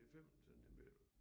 5 centimeter